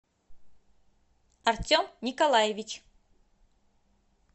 артем николаевич